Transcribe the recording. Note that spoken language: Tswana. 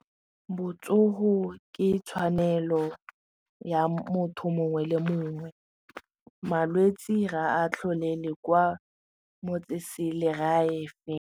Botsogo ke tshwanelo ya motho mongwe le mongwe malwetse ga a tlholele kwa motseselegae.